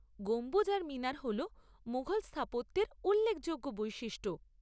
গম্বুজ আর মিনার হল মুঘল স্থাপত্যের উল্লেখযোগ্য বৈশিষ্ট্য।